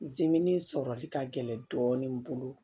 dimin sɔrɔli ka gɛlɛn dɔɔnin n bolo